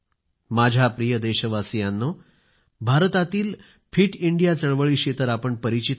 माझ्या प्रिय देशवासीयांनो भारतातील फिट इंडिया चळवळीशी तर आपण परिचित आहात